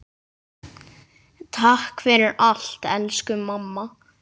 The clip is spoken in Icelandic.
Takk fyrir allt, elsku mamma.